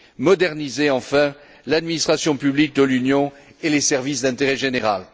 moderniser enfin l'administration publique de l'Union et les services d'intérêt général.